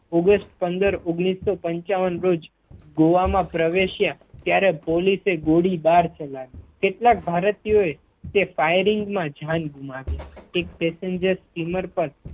August પંદર ઓગણીસો પંચાવન રોજ ગોવા મા પ્રવેશ્યા ત્યારે પોલીસે ગોળીબાર ચલાવ્યો, કેટલાક ભારતીયો એ તે Firing મા જાન ગુમાવી એક Passenger સ્ટીમર પર